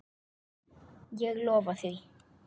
Ég lofa því.